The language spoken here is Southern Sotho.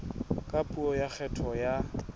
ka puo ya kgetho ya